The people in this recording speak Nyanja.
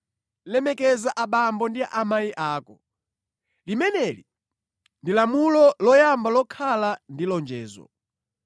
“Lemekeza abambo ndi amayi ako.” Limeneli ndi lamulo loyamba lokhala ndi lonjezo.